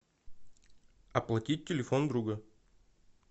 оплатить телефон друга